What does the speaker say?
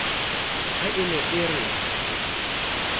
ha a ne a re